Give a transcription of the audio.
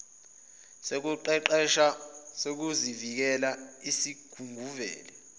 sokuqeqesha sezokuvikela esisungulwe